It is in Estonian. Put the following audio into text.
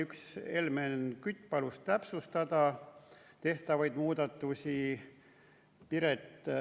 Helmen Kütt palus täpsustada tehtavaid muudatusi.